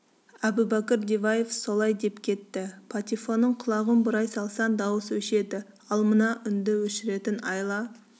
әбубәкір диваев солай деп кетті патефонның құлағын бұрай салсаң дауыс өшеді ал мына үнді өшіретін айла